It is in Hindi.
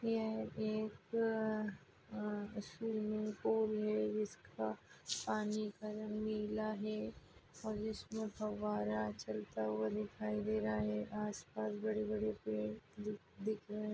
ये एक आ स्विमिंग पूल है जिसका पानी का रंग नीला है और इसमे फुवारा चलता हुआ दिख रहा है आस पास बड़े बड़े पेड़ दिख दिख रहे--